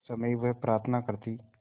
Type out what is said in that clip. उस समय वह प्रार्थना करती